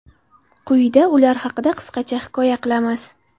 Quyida ular haqida qisqacha hikoya qilamiz.